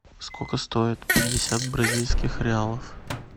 сколько стоит пятьдесят бразильских реалов